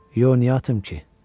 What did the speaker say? Yox, niyə atım ki?